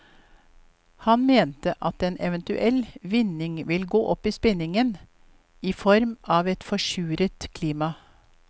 Han mente at en eventuell vinning vil gå opp i spinningen i form av et forsuret klima.